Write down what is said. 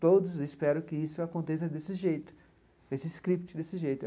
Todos esperam que isso aconteça desse jeito, desse script desse jeito.